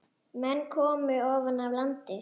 Menn komu ofan af landi.